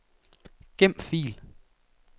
Gem fil.